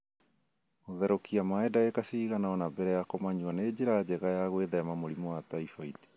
Kũtherũkia maĩ ndagĩka cigana ũna mbere ya kũmanyua nĩ njĩra njega ya gwĩthema mũrimũ wa typhoid.